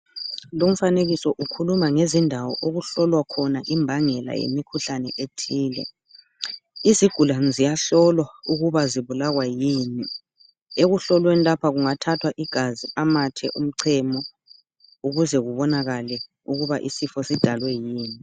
Lowu mfanekiso ukhuluma ngezindawo okuhlolwa khona imbangela yemikhuhlane ethile izigulane ziyahlolwa ukuba zibulawa yini ekuhlohlweni lapha kungathathwa igazi , amathe, umchemo ukuze kubonakale ukuba isifo sidalwe yini.